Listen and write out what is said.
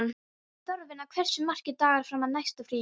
Þorfinna, hversu margir dagar fram að næsta fríi?